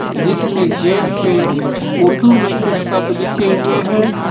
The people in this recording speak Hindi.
जिसके गेट पे उर्दू में कुछ शब्द लिखे हुए हैं.